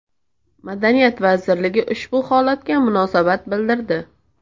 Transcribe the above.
Madaniyat vazirligi ushbu holatga munosabat bildirdi .